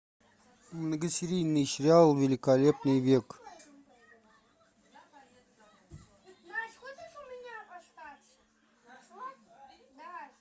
многосерийный сериал великолепный век